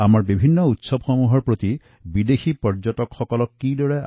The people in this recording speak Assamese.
আমাৰ দেশৰ অন্যান্য উৎসৱসমূহৰ প্ৰতিও বিদেশীৰ আকৰ্ষণ বৃদ্ধি কৰাৰ প্ৰচুৰ সুযোগ আছে